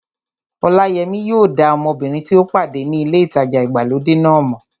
Ọláyẹmí yóò dá ọmọbìnrin tí ó pàdé ní ilé ìtajà ìgbàlódé náà mọ̀